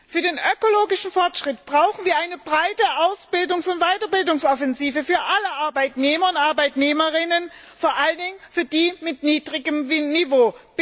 Für den ökologischen Fortschritt brauchen wir eine breite Ausbildungs und Weiterbildungsoffensive für alle Arbeitnehmer und Arbeitnehmerinnen, vor allem für die mit niedrigem Niveau.